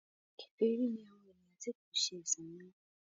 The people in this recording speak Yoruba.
kèfèrí ni àwọn ènìyàn tí kò se ẹsìn mí mọ.